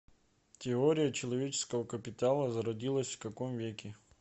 теория человеческого капитала зародилась в каком веке